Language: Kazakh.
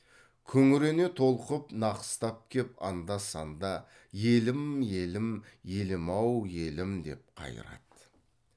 күңірене толқып нақыстап кеп анда санда елім елім елім ау елім деп қайырады